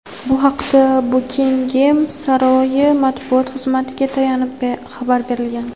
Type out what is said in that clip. Bu haqda Bukingem saroyi matbuot xizmatiga tayanib xabar berilgan.